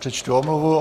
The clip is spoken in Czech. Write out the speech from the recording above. Přečtu omluvu.